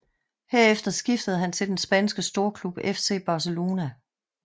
Herefter skiftede han til den spanske storklub FC Barcelona